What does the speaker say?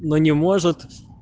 но не может